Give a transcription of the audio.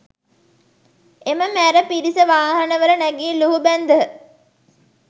එම මැර පිරිස වාහනවල නැගී ලුහුබැන්දහ